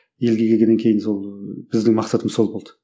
елге келгеннен кейін сол біздің мақсатымыз сол болды